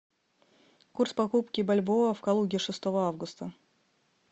курс покупки бальбоа в калуге шестого августа